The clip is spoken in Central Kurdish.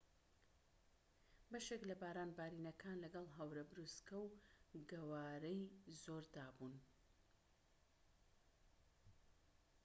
بەشێک لە باران بارینەکان لەگەڵ هەورە بروسکە و گەوارەی زۆردا بوون